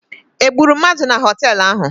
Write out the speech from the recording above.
Egburu mmadụ na họteelụ ahụ?